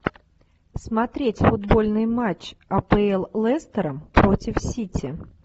смотреть футбольный матч апл лестера против сити